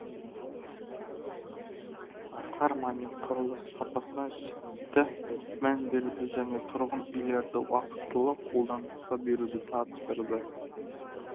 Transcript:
асқар мамин құрылыс сапасына жіті мән беруді және тұрғын үйлерді уақытылы қолданысқа беруді тапсырды